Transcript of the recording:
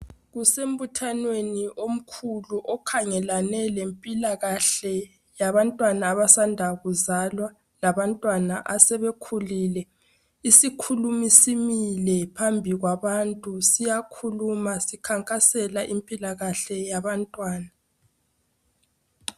Kusembuthanweni omkhulu okhangelane lempilakahle yabantwana abasanda kuzalwa labantwana asebekhulile. Isikhulumi simile phambi kwabantu sikhankasela impilo yabantwana.